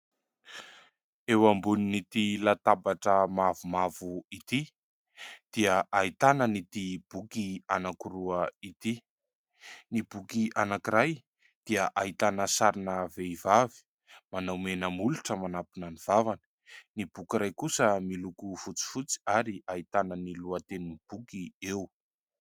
Eo ambonin'ity latabatra mavomavo ity dia ahitana an'ity boky anankiroa ity. Ny boky anankiray dia ahitana sarina vehivavy manao menamolotra, manampina ny vavany ; ny boky iray kosa miloko fotsifotsy ary ahitana ny lohatenin'ny boky eo.